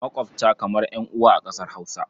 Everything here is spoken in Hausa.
Maƙwabta kamar ƴan'uwa a ƙasar Hausa.